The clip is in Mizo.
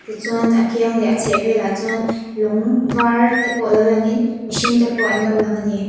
tichuan a kiang leh a chhehvelah chuan lung varte pawh lo langin mihringte pawh an lo lang a